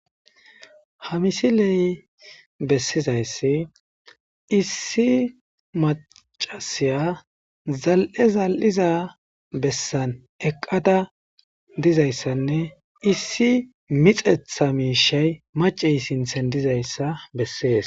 hamisiley bessizayssi issi macasiya zal7e zal7iza bessan eqqada dizayssanne issi mixetha miishey macey sinthen dizayssa bessees